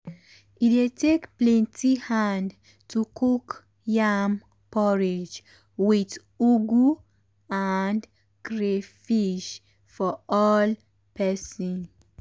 e dey take plenty hand to cook yam porridge with ugu and crayfish for all person.